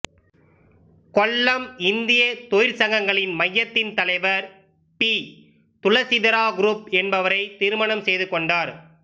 கொல்லம் இந்திய தொழிற்சங்கங்களின் மையத்தின் தலைவர் பி துளசீதரா குருப் என்பவரை திருமணம் செய்து கொண்டார்